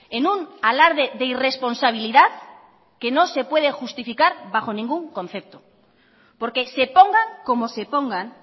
en un alarde de irresponsabilidad que no se puede justificar bajo ningún concepto porque se pongan como se pongan